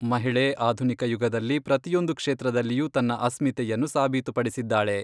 ಮಹಿಳೆ ಆಧುನಿಕ ಯುಗದಲ್ಲಿ ಪ್ರತಿಯೊಂದು ಕ್ಷೇತ್ರದಲ್ಲಿಯೂ ತನ್ನ ಅಸ್ಮಿತೆಯನ್ನು ಸಾಬೀತುಪಡಿಸಿದ್ದಾಳೆ.